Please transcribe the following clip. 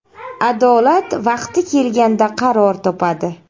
Adolat vaqti kelganda qaror topadi.